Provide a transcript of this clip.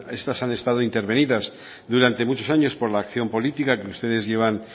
estas han estado intervenidas durante muchos años por la acción política que ustedes llevan